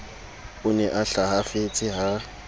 o ne a hlahafetse ha